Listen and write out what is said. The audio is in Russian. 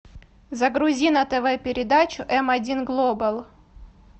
загрузи на тв передачу эм один глобал